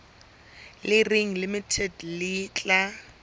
le reng limited le tla